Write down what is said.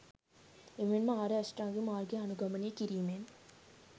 එමෙන්ම ආර්ය අෂ්ටාංගික මාර්ගය අනුගමනය කිරීමෙන්